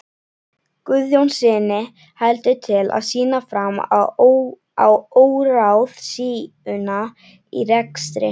Guðjónssyni heldur til að sýna fram á óráðsíuna í rekstri